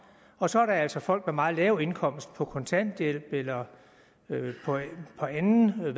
og så er der altså folk med meget lav indkomst på kontanthjælp eller på anden